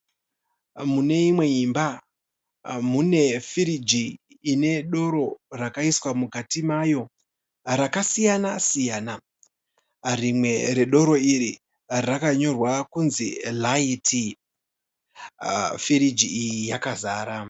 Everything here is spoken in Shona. Mune imwe imba. Mune firiji ine doro rakaiswa mukati mayo rakasiyana -siyana. Rimwe redoro iri rakanyorwa kunzi "LITE". Firiji iyi yakazara.